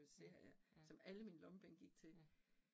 Ja ja. Ja